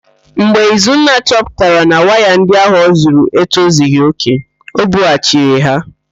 Mgbe Izunna chọpụtara na waya ndị ahụ ọzụrụ etozighi òkè, o bughachiri ha.